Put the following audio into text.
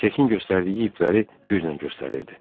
Cekin göstərdiyi ipləri güclə göstərirdi.